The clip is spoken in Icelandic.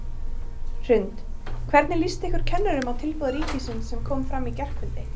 Hrund: Hvernig líst ykkur kennurum á tilboð ríkisins sem kom fram í gærkvöldi?